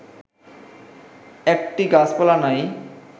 একটি গাছপালা নাই